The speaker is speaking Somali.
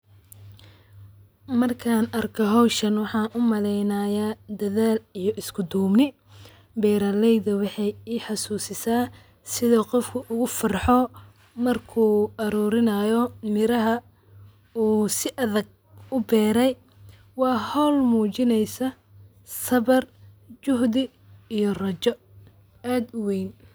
Markan arko hoshan waxaa u maleynaya dadhal iyo isku dubni beera leyda waxee itusta sithu qofka ugu farxo marku ararurinayo miraha u si adhag uberey waa hol mujineysa sabar juhdi iyo rajo aad uweyn.